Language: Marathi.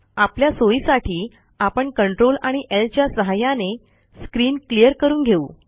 आपल्या सोईसाठी आपण Ctrl आणि ल च्या सहाय्याने स्क्रीन क्लियर करून घेऊ